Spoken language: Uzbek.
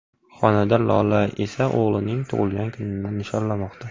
Xonanda Lola esa o‘g‘lining tug‘ilgan kunini nishonlamoqda.